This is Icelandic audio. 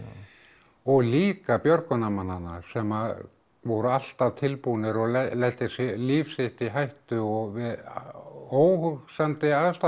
og líka björgunarmannanna sem voru alltaf tilbúnir að leggja líf sitt í hættu og við óhugsandi aðstæður